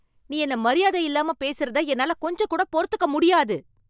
நீ என்ன மரியாதையில்லாம பேசுறத என்னால கொஞ்சம்கூட பொறுத்துக்க முடியாது